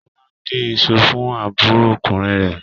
Kọ́lá ń dín iṣu fún àbúròkùnrin rẹ̀.